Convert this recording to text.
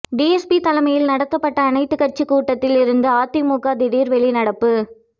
DSP தலைமையில் நடத்தப்பட்ட அனைத்து கட்சி கூட்டத்தில் இருந்து அதிமுக திடீர் வெளிநடப்பு